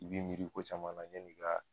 I bi miiri ko caman la yanni ka